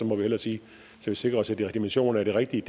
må vi hellere sige så vi sikrer os at definitionen er den rigtige